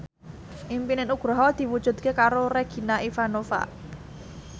impine Nugroho diwujudke karo Regina Ivanova